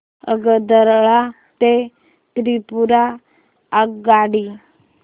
आगरतळा ते त्रिपुरा आगगाडी